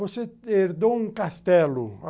Você herdou um castelo.